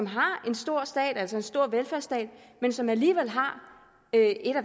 har en stor stat altså en stor velfærdsstat men som alligevel har en af